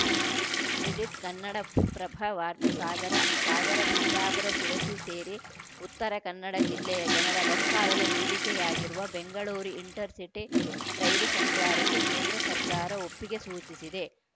edit Kannadaprabha ವಾರ್ತೆ ಸಾಗರ ಸಾಗರ ಸಿದ್ದಾಪುರ ಶಿರಸಿ ಸೇರಿ ಉತ್ತರ ಕನ್ನಡ ಜಿಲ್ಲೆಯ ಜನರ ಬಹುಕಾಲದ ಬೇಡಿಕೆಯಾಗಿರುವ ಬೆಂಗಳೂರು ಇಂಟರ್ ಸಿಟಿ ರೈಲು ಸಂಚಾರಕ್ಕೆ ಕೇಂದ್ರ ಸರ್ಕಾರ ಒಪ್ಪಿಗೆ ಸೂಚಿಸಿದೆ